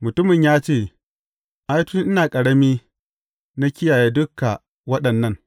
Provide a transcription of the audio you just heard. Mutumin ya ce, Ai, tun ina ƙarami, na kiyaye duka waɗannan.